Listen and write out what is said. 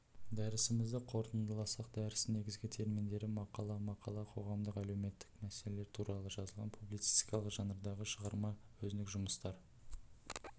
дәрісімізді қорытындыласақ дәрістің негізгі терминдері мақала мақала коғамдық-әлеуметтік мәселелер туралы жазылған публицистикалық жанрдағы шығарма өзіндік жұмыстар